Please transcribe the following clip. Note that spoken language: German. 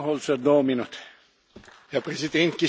Herr Präsident, geschätzte Kolleginnen und Kollegen!